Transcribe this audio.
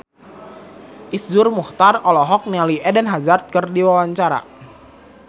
Iszur Muchtar olohok ningali Eden Hazard keur diwawancara